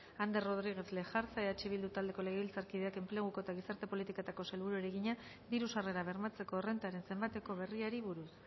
ander rodriguez lejarza eh bildu taldeko legebiltzarkideak enpleguko eta gizarte politiketako sailburuari egina diru sarrerak bermatzeko errentaren zenbateko berriari buruz